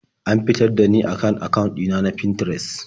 An fitar da ni daka kan akawun ɗina na Finterest.